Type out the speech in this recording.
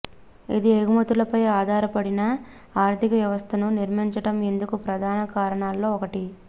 అది ఎగుమతులపై ఆధారపడిన ఆర్థిక వ్యవస్థను నిర్మించటం ఇందుకు ప్రధాన కారణాల్లో ఒకటి